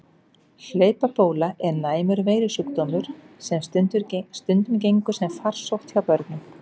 Hlaupabóla er næmur veirusjúkdómur sem stundum gengur sem farsótt hjá börnum.